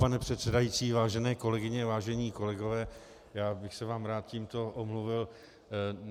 Pane předsedající, vážené kolegyně, vážení kolegové, já bych se vám rád tímto omluvil.